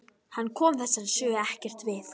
Hann kom þessari sögu ekkert við.